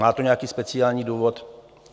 Má to nějaký speciální důvod?